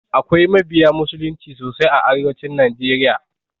Akwai mabiya musulunci sosai a arewacin najeriya.